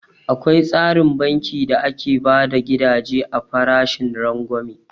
Akwai tsarin banki da ake bada gidaje a farashin rangwame